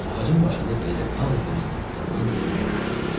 Ağacın başında beli ağ bir saxsağan yuva qurmuşdu.